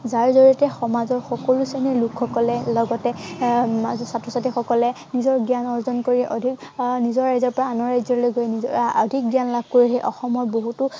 যাৰ জড়িয়তে সমাজৰ সকলো শ্ৰেণীৰ লোকসকলে লগতে আহ ছাত্ৰ-ছাত্ৰীসকলে নিজৰ জ্ঞান অৰ্জন কৰি অধিক আহ নিজৰ ৰাজ্য়ৰ পৰা আনৰ ৰাজ্য়লৈ গৈ আহ অধিক জ্ঞান লাভ কৰি অসমৰ বহুতো